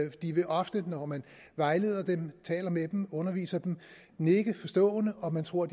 de vil ofte når man vejleder dem taler med dem underviser dem nikke forstående og man tror at